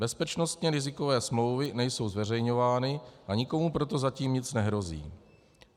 Bezpečnostně rizikové smlouvy nejsou zveřejňovány a nikomu proto zatím nic nehrozí.